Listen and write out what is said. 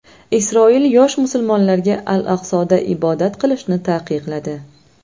Isroil yosh musulmonlarga al-Aqsoda ibodat qilishni taqiqladi.